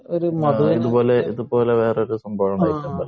ഇതുപോലെ വേറൊരു സംഭവം ഉണ്ടായിട്ടുണ്ടല്ലോ